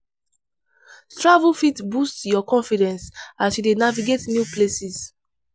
Travel fit boost your confidence as you dey navigate new places.